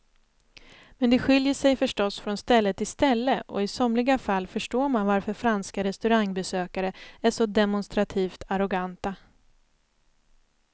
Men det skiljer sig förstås från ställe till ställe och i somliga fall förstår man varför franska restaurangbesökare är så demonstrativt arroganta.